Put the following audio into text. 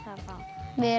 við erum